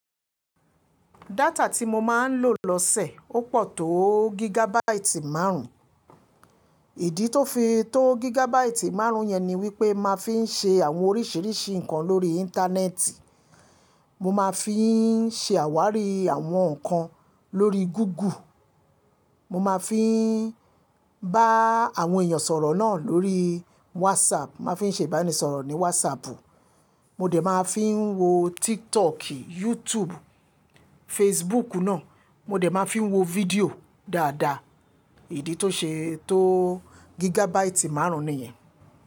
Data tí mo máa ń lò lọ́sẹ̀ ó pọ̀ tó gigabaati márùn-ún. Ìdí tó fi tó gigabaati márùn-ún yẹn ni wípé máa fi ń ṣe àwọn oríṣiríṣi nǹkan lórí Íńtánẹ́ẹ̀tì. Mo máa fi ń ṣe àwárí àwọn nǹkan lórí Gúgù. Mo máa fi ń bá àwọn èèyàn sọ̀rọ̀ náà lórí wásaàpù, máa fi ń ṣe ìbánisọ̀rọ̀ ní wásaàpù. Mo dẹ̀ máa fi ń wo Tiktok, YouTube, Facebook náà. Mo lè máa fi ń wo fídíò dáadáa. Ìdí tó ṣe tó gigabaati márùn-ún nìyẹn.